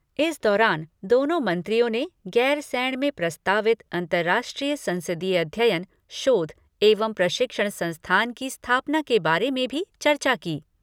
इस दौरान दोनों मंत्रियों ने गैरसैंण में प्रस्तावित अंतर्राष्ट्रीय संसदीय अध्ययन, शोध एवं प्रशिक्षण संस्थान की स्थापना के बारे में भी चर्चा की।